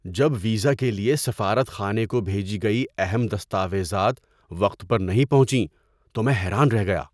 جب ویزا کے لیے سفارت خانے کو بھیجی گئی اہم دستاویزات وقت پر نہیں پہنچیں تو میں حیران رہ گیا۔